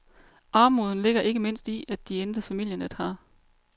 Armoden ligger ikke mindst i, at deintet familienet har.